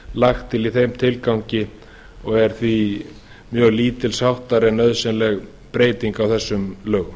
lagt til í þeim tilgangi og er því mjög lítilsháttar en nauðsynleg breyting á þessum lögum